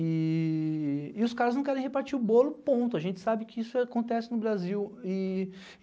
E e os caras não querem repartir o bolo e ponto, a gente sabe que isso acontece no Brasil. E